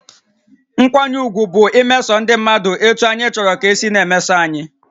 Nkwanye ùgwù bụ imeso ndị mmadụ etú anyị chọrọ ka e si na-emeso anyị